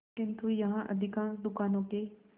किंतु यहाँ अधिकांश दुकानों के